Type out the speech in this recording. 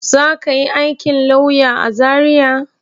Za ka yi aikin lauya a Zariya?